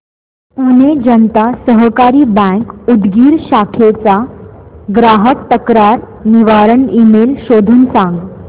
पुणे जनता सहकारी बँक उदगीर शाखेचा ग्राहक तक्रार निवारण ईमेल शोधून सांग